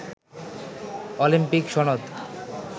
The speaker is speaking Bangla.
অলিম্পিক সনদ